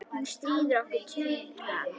Hún stríðir honum tuðran.